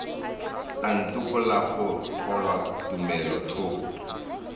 a ntokolle go kgolwa tumelothoko